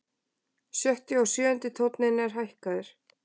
Sjötti og sjöundi tónn er hækkaður.